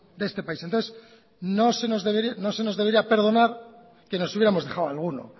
de este país entonces no se nos debería perdonar que nos hubiéramos dejado alguno